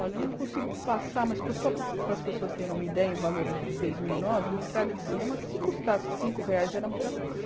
Olha, eu não consigo passar, mas só para para as pessoas terem uma ideia, em valores de dois mil e nove, uma entrada de cinema, se custasse cinco reais, era muita coisa.